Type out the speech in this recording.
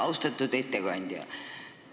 Austatud ettekandja!